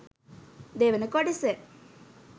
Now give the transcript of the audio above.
දෙවන කොටස